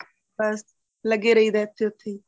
ਬੱਸ ਲੱਗੇ ਰਹਿ ਦਾ ਇਥੇ ਉਥੇ ਹੀ